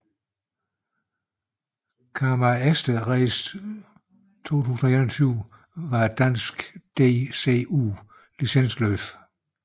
Karma Easter Race 2021 var et dansk DCU licensløb